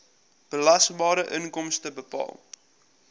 belasbare inkomste bepaal